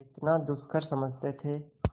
जितना दुष्कर समझते थे